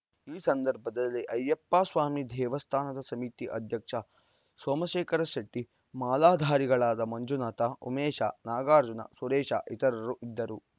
ಈ ಸಂದರ್ಭದಲ್ಲಿ ಅಯ್ಯಪ್ಪಸ್ವಾಮಿ ದೇವಸ್ಥಾನದ ಸಮಿತಿ ಅಧ್ಯಕ್ಷ ಸೋಮಶೇಖರ ಶೆಟ್ಟಿ ಮಾಲಾಧಾರಿಗಳಾದ ಮಂಜುನಾಥ ಉಮೇಶ ನಾಗಾರ್ಜುನ ಸುರೇಶ ಇತರರು ಇದ್ದರು